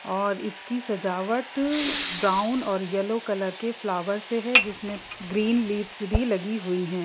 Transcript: और इसकी सजावट ब्राउन और येल्लो कलर के फ्लावर से हैँ जिसमे ग्रीन लीव्स भी लगी हुई हैँ।